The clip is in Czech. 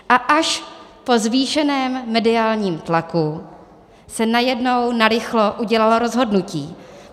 A až po zvýšeném mediálním tlaku se najednou narychlo udělalo rozhodnutí.